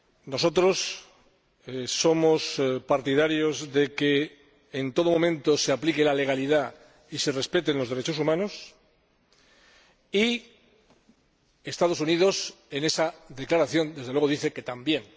Nosotros somos partidarios de que en todo momento se aplique la legalidad y se respeten los derechos humanos y los Estados Unidos, en esa declaración, desde luego dicen que también.